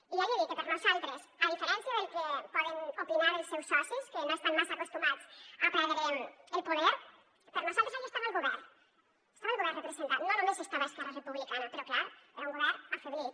i ja li he dit que per nosaltres a diferència del que poden opinar els seus socis que no estan massa acostumats a perdre el poder per nosaltres ahí estava el govern estava el govern representat no només estava esquerra republicana però clar era un govern afeblit